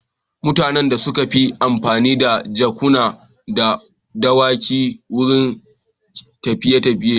Mutanen da sun fi amfani da jakuna da dawakai wurin tafiye-tafiye.